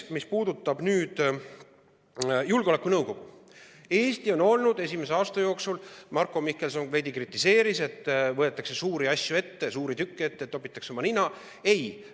Mis puudutab julgeolekunõukogu, siis Marko Mihkelson veidi kritiseeris, et võetakse ette suuri asju, suuri tükke, topitakse oma nina.